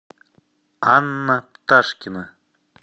анна пташкина